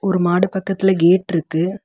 ஒரு மாடு பக்கத்துல கேட் இருக்கு.